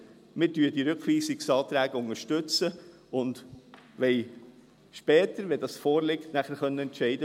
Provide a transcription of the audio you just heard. Wir unterstützen die Rückweisungsanträge und wollen später, wenn dies vorliegt, entscheiden.